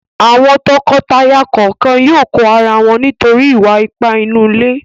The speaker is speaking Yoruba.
Àwọn tọkọtaya kọ̀ọ̀kan yóò kọ ara wọn nítorí ìwà-ipá inú ilé.